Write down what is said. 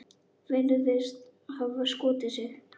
Virðist hafa skotið sig.